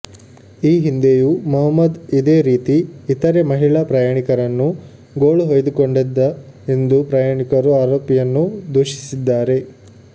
ಈ ಹಿಂದೆಂುೂ ಮೊಹಮ್ಮದ್ ಇದೇ ರೀತಿ ಇತರೆ ಮಹಿಳಾ ಪ್ರಂುುಾಣಿಕರನ್ನು ಗೋಳುಹೊಂುು್ದುಕೊಂಡಿದ್ದ ಎಂದು ಪ್ರಂುುಾಣಿಕರು ಆರೋಪಿಂುುನ್ನು ದೂಷಿಸಿದ್ದಾರೆ